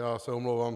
Já se omlouvám.